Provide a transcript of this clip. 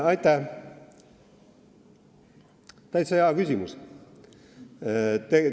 Aitäh, täitsa hea küsimus!